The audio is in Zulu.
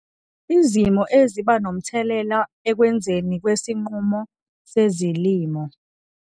Izimo eziba nomthelela ekwenziweni kwesinqumo sezilimo